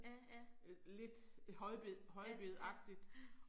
Ja ja. Ja, ja, ja